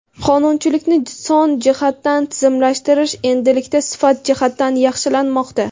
qonunchilikni son jihatdan tizimlashtirish endilikda sifat jihatdan yaxshilanmoqda.